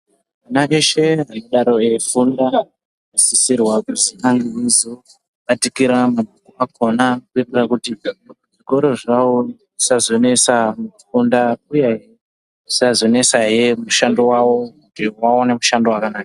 Vana veshe vanodaro veifunda vanosisirwa kuti vange veizobatikira kuitira kuti zvikora zvawo zvisazonetsa kufunda uyehe zvisazonetsawo mishando yawo kuti vaone mushando wakanaka.